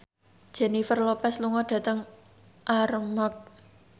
Jennifer Lopez lunga dhateng Armargh